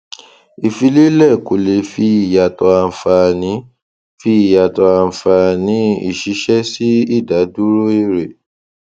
ìfìlélẹ kò lè fi yàtọ ànfàní fi yàtọ ànfàní ìṣìṣẹ sí ìdádúró èrè